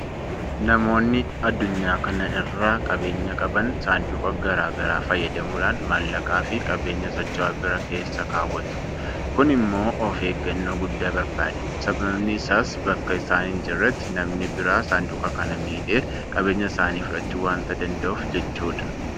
Namoonni addunyaa kana irraa qabeenyaa qaban saanduqa garaa garaa fayyadamuudhaan maallaqaafi qabeenya socho'aa biraa keessa keewwatu. Kun immoo ofeeggannoo guddaa barbaada. Sababni isaas bakka isaan hinjirretti namni biraa saanduqa kana miidhee qabeenya isaanii fudhachuu waanta danda'uuf jechuudha.